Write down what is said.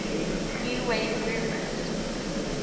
new wave movement